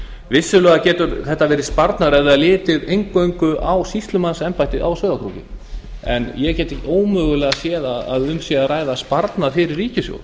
vissulega getur þetta verið sparnaður ef eingöngu er litið á sýslumannsembættið á sauðárkróki en ég get ómögulega séð að um sparnað fyrir ríkissjóð